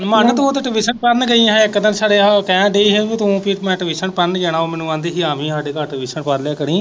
ਮਨ ਤੂੰ ਤਾਂ ਟਿਵਿਸ਼ਨ ਪੜਨ ਗਈ ਹੈ ਇੱਕ ਦਿਨ ਕਹਿਣ ਡੀ ਹੀ ਕਿ ਤੂੰ ਮੈਂ ਟਿਵਿਸ਼ਨ ਪੜਨ ਜਾਣਾ ਉਹ ਮਿਨੂੰ ਕਹਿੰਦੀ ਹੀ ਕਿ ਆਵੀਂ ਸਾਡੇ ਘਰ ਟਿਵਿਸ਼ਨ ਪੜ ਲਿਆ ਕਰੀ।